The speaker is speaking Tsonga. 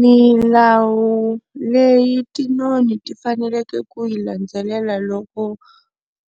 Milawu leyi tinoni ti faneleke ku yi landzelela loko